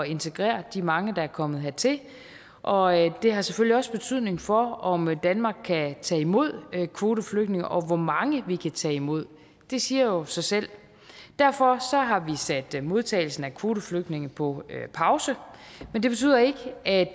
integrere de mange der er kommet hertil og det har selvfølgelig også betydning for om danmark kan tage imod kvoteflygtninge og hvor mange vi kan tage imod det siger jo sig selv derfor har vi sat modtagelsen af kvoteflygtninge på pause men det betyder ikke at